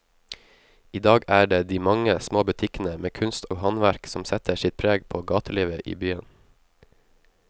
I dag er det de mange små butikkene med kunst og håndverk som setter sitt preg på gatelivet i byen.